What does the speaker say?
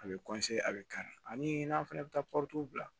A bɛ a bɛ kari ani n'a fana bɛ taa bila